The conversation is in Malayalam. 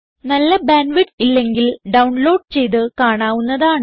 നല്ല ബാൻഡ് വിഡ്ത്ത് ഇല്ലെങ്കിൽ ഡൌൺലോഡ് ചെയ്ത് കാണാവുന്നതാണ്